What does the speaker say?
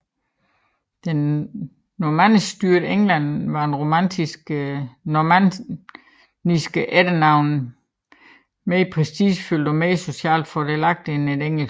I det normanniskstyrede England var et normanniske efternavn mere prestigefyldt og mere socialt fordelagtigt end et engelsk